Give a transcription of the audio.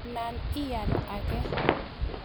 Anan ial ake .